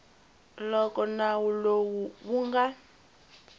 loko nawu lowu wu nga